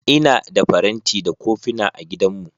Ina da faranti da kofina a gidanmu.